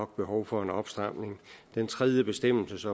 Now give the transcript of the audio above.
behov for en opstramning den tredje bestemmelse